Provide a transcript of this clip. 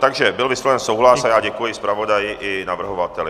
Takže byl vysloven souhlas a já děkuji zpravodaji i navrhovateli.